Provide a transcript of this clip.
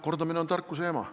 Kordamine on tarkuse ema.